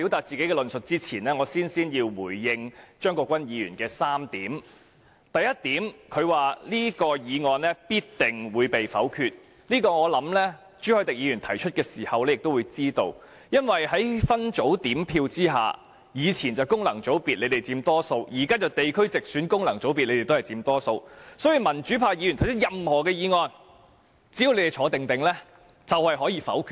在論述之前，有3點我首先要回應張國鈞議員：第一，他說這項議案必定會被否決，我想這點朱凱廸議員提出議案時已知悉，因為以往建制派在功能團體議席佔大多數，現在建制派在分區直選及功能團體議席也佔大多數，在分組點票下，無論民主派議員提出任何議案，只要建制派不離開座位就可以否決了。